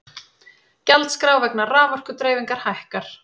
Gjaldskrá vegna raforkudreifingar hækkar